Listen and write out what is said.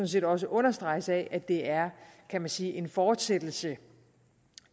set også understreges af at det er kan man sige en fortsættelse